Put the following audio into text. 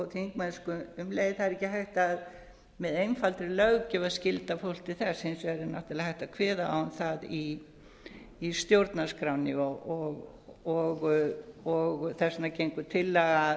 þingmennsku um leið það er ekki hægt með einfaldri löggjöf að skylda fólk til þess hins vegar er náttúrlega hægt að kveða á um það í stjórnarskránni og þess vegna gengur